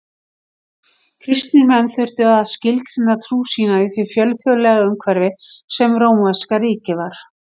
Kristnir menn þurftu að skilgreina trú sína í því fjölþjóðlega umhverfi sem rómverska ríkið var.